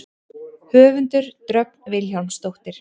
Höfundur: Dröfn Vilhjálmsdóttir.